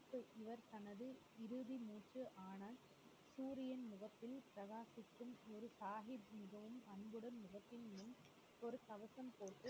தனது இறுதி மூச்சு ஆனால் சூரியன் நிறத்தில் பிரகாசிக்கும் இரு சாஹிப் ஒரு தயக்கம் போட்டு